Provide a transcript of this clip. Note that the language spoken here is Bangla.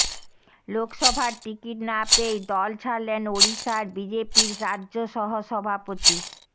লোকসভার টিকিট না পেয়েই দল ছাড়লেন ওড়িশার বিজেপির রাজ্য সহ সভাপতি